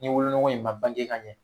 Ni wolonugu in ma bange ka ɲɛ